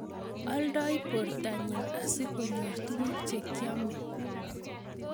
Oldoi bortanyi asikonyor tuguk che kiomei